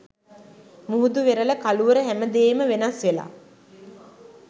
මුහුදු වෙරළ කළුවර හැමදේම වෙනස් වෙලා